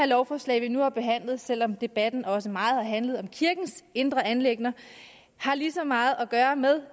lovforslag vi nu har behandlet har selv om debatten også meget har handlet om kirkens indre anliggender lige så meget at gøre med